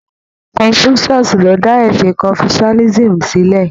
Confucius ló dá ẹ̀sìn confucianism sílẹ